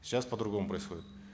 сейчас по другому происходит